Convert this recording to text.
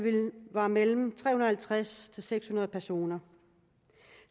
var mellem tre hundrede og halvtreds og seks hundrede personer